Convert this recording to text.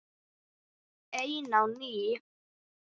Ein á ný.